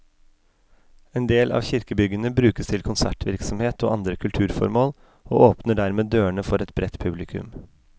En del av kirkebyggene brukes til konsertvirksomhet og andre kulturformål, og åpner dermed dørene for et bredt publikum.